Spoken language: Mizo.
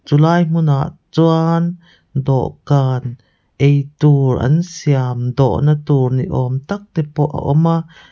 chu lai hmun ah chuan dawhkan ei tur an siam dawh na tur ni awm tak te pawh a awm a.